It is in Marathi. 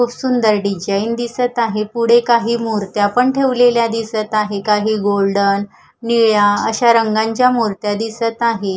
खूप सुंदर डिजाइन दिसत आहे पुढे काही मुर्त्या पण ठेवलेल्या दिसत आहे काही गोल्डन निळ्या अशा रंगांच्या मुर्त्या दिसत आहे.